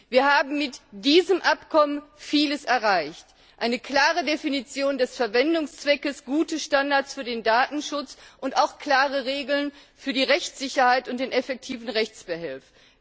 Wir haben mit diesem Abkommen vieles erreicht eine klare Definition des Verwendungszwecks, gute Standards für den Datenschutz und auch klare Regeln für die Rechtssicherheit und wirksame Rechtsbehelfe.